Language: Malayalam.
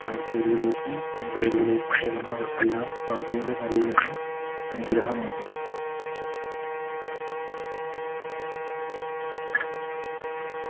മൈസൂരിലേക്കും ബംഗളൂരുവിലേക്കും പോകുന്നവർക്കെല്ലാം പാതയുടെ നവീകരണം അനുഗ്രഹമാകും